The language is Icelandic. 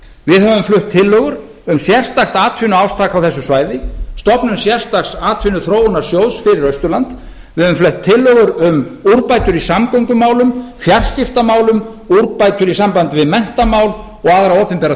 við höfum flutt tillögur um sérstakt atvinnuátak á þessu svæði stofnun sérstaks atvinnuþróunarsjóðs fyrir austurland við höfum flutt tillögur um úrgöngur í samgöngumálum fjarskiptamálum úrbætur í sambandi við menntamál og aðra opinbera